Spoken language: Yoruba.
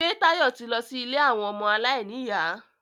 Ṣé Táyọ̀ ti lọ sí ilé àwọn ọmọ aláìníyà?